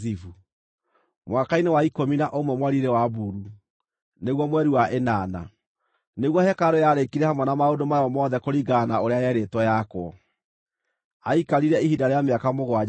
Mwaka-inĩ wa ikũmi na ũmwe mweri-inĩ wa Bulu, nĩguo mweri wa ĩnana, nĩguo hekarũ yarĩkire hamwe na maũndũ mayo mothe kũringana na ũrĩa yerĩtwo yakwo. Aikarire ihinda rĩa mĩaka mũgwanja akĩmĩaka.